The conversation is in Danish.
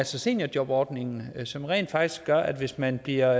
seniorjobordningen som rent faktisk gør at hvis man bliver